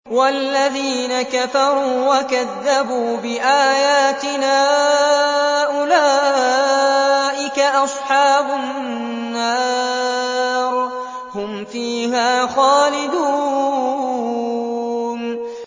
وَالَّذِينَ كَفَرُوا وَكَذَّبُوا بِآيَاتِنَا أُولَٰئِكَ أَصْحَابُ النَّارِ ۖ هُمْ فِيهَا خَالِدُونَ